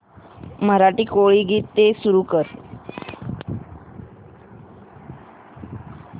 मराठी कोळी गीते सुरू कर